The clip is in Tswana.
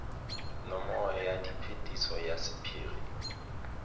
nomoro ya phetiso ya sephiri